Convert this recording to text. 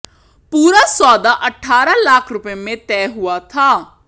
पूरा सौदा अट्ठारह लाख रुपये में तय हुआ था